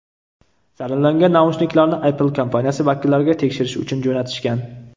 Zararlangan naushniklarni Apple kompaniyasi vakillariga tekshirish uchun jo‘natishgan.